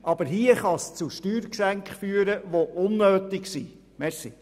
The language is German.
Aber hier kann das zu Steuergeschenken führen, die unnötig sind.